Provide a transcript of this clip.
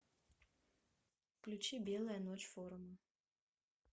включи белая ночь форума